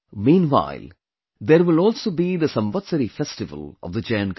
Meanwhile, there will also be the Samvatsari festival of the Jain community